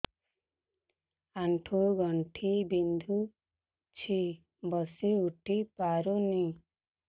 ଆଣ୍ଠୁ ଗଣ୍ଠି ବିନ୍ଧୁଛି ବସିଉଠି ପାରୁନି